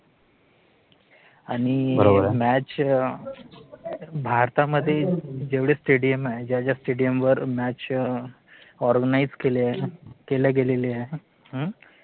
आणि मॅच भारतामध्ये जेवढे स्टेडियम आहेत, ज्या ज्या स्टेडिअम वर match organize केल्या गेलेल्या आहेत,